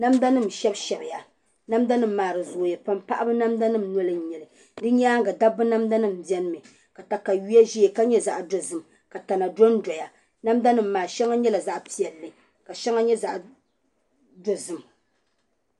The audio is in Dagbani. Namda nim n shɛbi shɛbiya namda nim maa di zooya pam paɣaba namda nim noli n nyɛli di nyaanga dabba namda nim biɛni mi ka katawiya ʒɛya ka nyɛ zaɣ dozim ka tana dondoya namda nim maa shɛŋa nyɛla zaɣ piɛlli ka shɛŋa nyɛ zaɣ dozim